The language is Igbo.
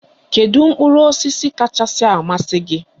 Kedu mkpụrụ osisi kachasị amasị gị?